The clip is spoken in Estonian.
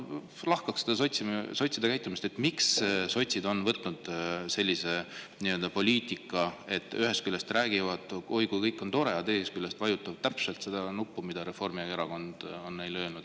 Ja lahkaks äkki seda sotside käitumist, miks sotsid on valinud sellise poliitika, et ühest küljest räägivad, oi kui tore kõik on, aga teisest küljest vajutavad nuppu täpselt nii, nagu Reformierakond on neile öelnud.